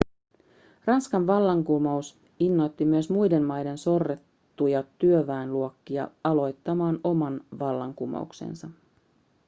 ranskan vallankumous innoitti myös muiden maiden sorrettuja työväenluokkia aloittamaan omat vallankumouksensa